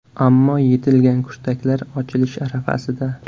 Ammo yetilgan kurtaklar ochilish arafasida.